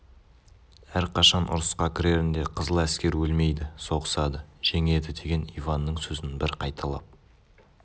әрқашан ұрысқа кірерінде қызыл аскер өлмейді соғысады жеңеді деген иванның сөзін бір қайталап